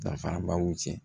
Danfaraba b'u cɛ